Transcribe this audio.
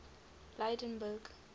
lydenburg